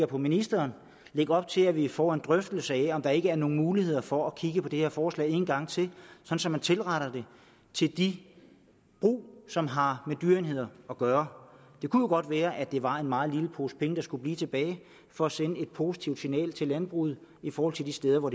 på ministeren lægge op til at vi får en drøftelse af om der ikke er nogen muligheder for at kigge på det her forslag en gang til så man tilretter det til de brug som har med dyreenheder at gøre det kunne jo godt være at det var en meget lille pose penge der skulle blive tilbage for at sende et positivt signal til landbruget i forhold til de steder hvor